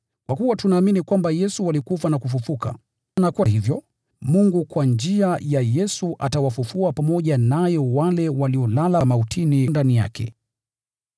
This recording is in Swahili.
Kwa kuwa tunaamini kwamba Yesu alikufa na kufufuka, na kwa hivyo, Mungu kwa njia ya Yesu atawafufua pamoja naye wale waliolala mautini ndani yake.